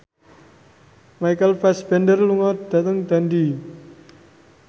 Michael Fassbender lunga dhateng Dundee